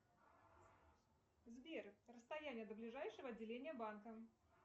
сбер расстояние до ближайшего отделения банка